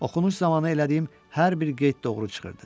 Oxunuş zamanı elədiyim hər bir qeyd doğru çıxırdı.